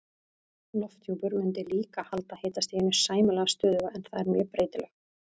Lofthjúpur mundi líka halda hitastiginu sæmilega stöðugu en það er mjög breytilegt.